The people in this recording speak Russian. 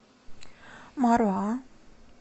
маруа